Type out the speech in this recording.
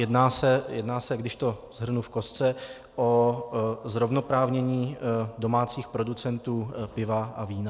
Jedná se, když to shrnu v kostce, o zrovnoprávnění domácích producentů piva a vína.